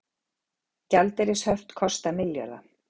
Gjaldeyrishöft kosta milljarða